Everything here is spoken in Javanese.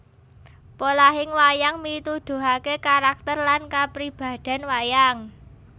Polahing wayang mituduhake karakter lan kapribaden wayang